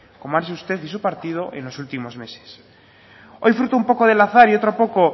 como ha hecho usted y su partido en los últimos meses hoy fruto del azar y otro poco